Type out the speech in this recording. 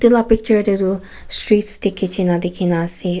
itu la picture teh tu streets deh kitche na dikhi ase.